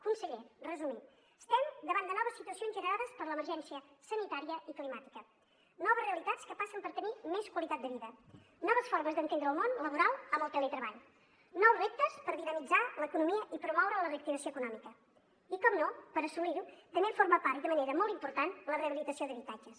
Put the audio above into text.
conseller resumint estem davant de noves situacions generades per l’emergència sanitària i climàtica noves realitats que passen per tenir més qualitat de vida noves formes d’entendre el món laboral amb el teletreball nous reptes per dinamitzar l’economia i promoure la reactivació econòmica i per descomptat per assolir ho també en forma part i de manera molt important la rehabilitació d’habitatges